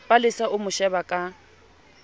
palesa o mo sheba ka